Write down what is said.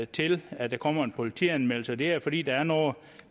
til at der kommer en politianmeldelse og det er fordi der er noget